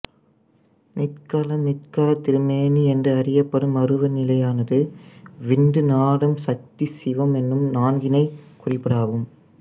நிட்களம் நிட்களத் திருமேனி என்று அறியப்படும் அருவ நிலையானது விந்து நாதம் சக்தி சிவம் எனும் நான்கினைக் குறிப்பதாகும்